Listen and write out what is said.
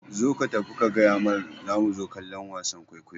Zo ka tafi ka gayamar zamu zo kallon wasan kwaikwayo